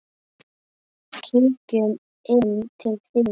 Kíkjum inn til þín